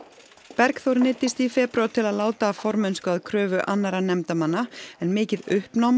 Bergþór neyddist í febrúar til að láta af formennsku að kröfu annarra nefndarmanna en mikið uppnám